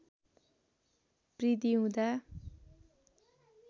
बृद्धि हुँदा